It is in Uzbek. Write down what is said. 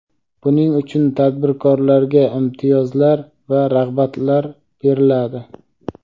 buning uchun tadbirkorlarga imtiyozlar va rag‘batlar beriladi.